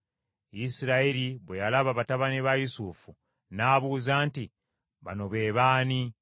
Isirayiri bwe yalaba batabani ba Yusufu n’abuuza nti, “Bano be baani?”